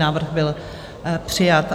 Návrh byl přijat.